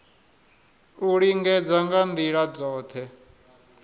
u lingedza nga ndila dzothe